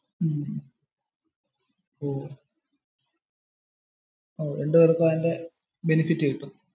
രണ്ടുപേർക്കും അതിന്റെ ബെനെഫിറ് കിട്ടും.